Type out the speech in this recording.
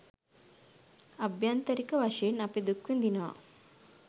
අභ්‍යන්තරික වශයෙන් අපි දුක් විඳිනවා